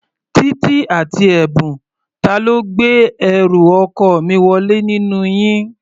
Títí àti Ẹ̀bùn, ta ló gbé ẹrù ọkọ mi wọlé nínú yín?